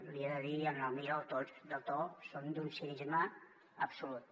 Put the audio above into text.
li he de dir amb el millor dels tons que són d’un cinisme absolut